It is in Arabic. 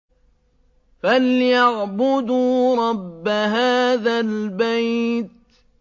فَلْيَعْبُدُوا رَبَّ هَٰذَا الْبَيْتِ